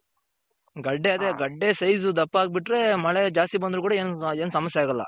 ಗಡ್ಡೆ ಅದೆ ಗಡ್ಡೆ size ದಪ್ಪ ಆಗ್ ಬಿಟ್ರೆ ಮಳೆ ಜಾಸ್ತಿ ಬಂದ್ರು ಕೂಡ ಏನು ಸಮಸ್ಯೆ ಆಗಲ್ಲ.